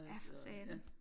Ja for satan